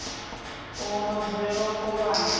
uho vha dzulela u kovhana